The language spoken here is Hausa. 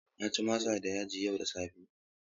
Na ci masa da yaji yau da safe.